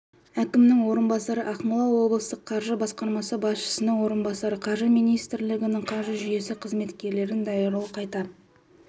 әкімінің орынбасары ақмола облыстық қаржы басқармасы басшысының орынбасары қаржы министрлігінің қаржы жүйесі қызметкерлерін даярлау қайта